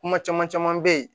Kuma caman caman bɛ ye